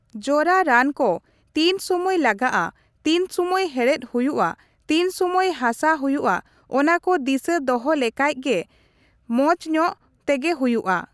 ᱡᱚᱨᱟ ᱨᱟᱱ ᱠᱚ ᱛᱤᱱ ᱥᱩᱢᱟᱹᱭ ᱞᱟᱜᱟᱜᱼᱟ ,ᱛᱤᱱ ᱥᱩᱢᱟᱹᱭ ᱦᱮᱲᱦᱮᱫ ᱦᱩᱭᱩᱜᱼᱟ, ᱛᱤᱱ ᱥᱩᱢᱟᱹᱭ ᱦᱟᱥᱟ ᱦᱩᱭᱩᱜᱼᱟ ᱚᱱᱟᱠᱚ ᱫᱤᱥᱟᱹ ᱫᱚᱦᱚ ᱞᱮᱠᱷᱟᱡ ᱜᱮ ᱢᱚᱪᱧᱚᱜ ᱛᱮᱜᱮ ᱦᱩᱭᱩᱜᱼᱟ ᱾